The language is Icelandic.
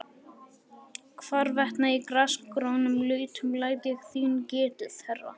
Hvarvetna í grasgrónum lautum læt ég þín getið, herra.